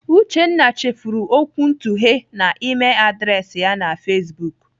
Uchenna chefuru okwuntughe na Email adreesị ya na Facebook.